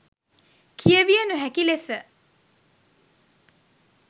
කියවිය නොහැකි ලෙස